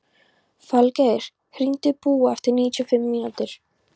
Falgeir, hringdu í Búa eftir níutíu mínútur.